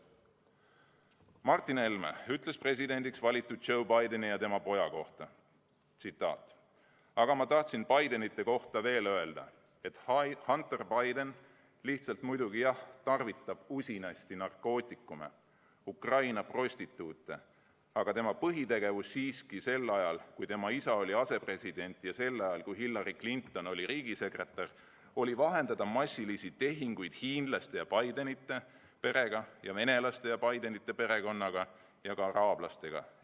" Martin Helme ütles presidendiks valitud Joe Bideni ja tema poja kohta: "Aga ma tahtsin Bidenite kohta veel öelda, et Hunter Biden lihtsalt muidugi, jah, tarvitab usinasti narkootikume ja Ukraina prostituute, aga tema põhitegevus siiski sel ajal, kui tema isa oli asepresident, ja sel ajal, kui Hillary Clinton oli riigisekretär, oli vahendada massilisi, suuri, miljonilisi või kümne miljonilisi tehinguid hiinlaste ja Bidenite perega ja venelaste ja Bidenite perekonnaga ja ukrainlaste ja Bideni perekonnaga ja ka araablastega.